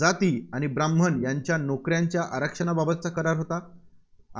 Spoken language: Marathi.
जाती आणि ब्राह्मण यांच्या नोकऱ्यांच्या आरक्षणाबाबतचा करार होता